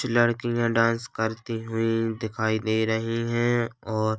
छ लड़कियां डांस करती हुई दिखाई दे रही है और--